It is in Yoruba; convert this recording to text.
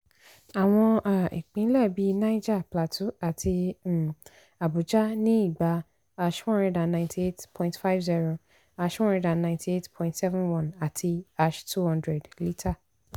àwọn um ìpínlẹ̀ bí niger plateau àti um abuja ní ígbà # one hundred ninety eight point five zero # one hundred ninety eight point seven one àti # two hundred líta.